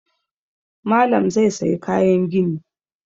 Malam zai sayi kayan gini